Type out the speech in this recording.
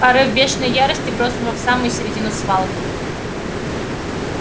порыв бешеной ярости бросил его в самую середину свалки